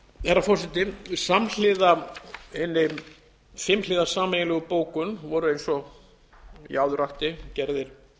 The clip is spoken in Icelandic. herra forseti samhliða hinni fimmhliða sameiginlegu bókun voru eins og ég áður rakti gerðir